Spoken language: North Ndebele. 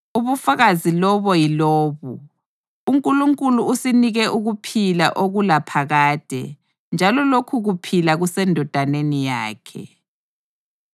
Ubufakazi lobo yilobu: UNkulunkulu usinike ukuphila okulaphakade njalo lokhu kuphila kuseNdodaneni yakhe.